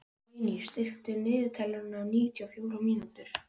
Níní, stilltu niðurteljara á níutíu og fjórar mínútur.